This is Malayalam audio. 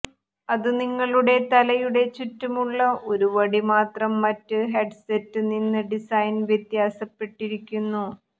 അതു നിങ്ങളുടെ തലയുടെ ചുറ്റുമുള്ള ഒരു വടി മാത്രം മറ്റ് ഹെഡ്സെറ്റ് നിന്ന് ഡിസൈൻ വ്യത്യാസപ്പെട്ടിരിക്കുന്നു